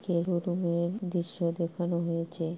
যে রুমের দৃশ্য দেখানো হয়েছে।